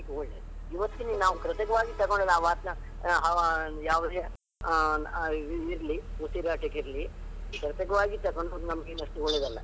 ಒಳ್ಳೆಯದು, ಇವತ್ತಿನ ಕೃತಕವಾಗಿ ತಗೊಂಡ ವಾತಾ ಯಾವುದೇ ಇರ್ಲಿ ಆ ಆ ಉಸಿರಾಟಕ್ಕೆ ಇರ್ಲಿ ಕೃತಕವಾಗಿ ತಗೊಳ್ಳುವುದು ನಮಗೇನು ಅಷ್ಟು ಒಳ್ಳೆದಲ್ಲ.